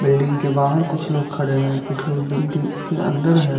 Building के बाहर कुछ लोग खड़े हैं कुछ लोग बिल्डिंग के अंदर हैं।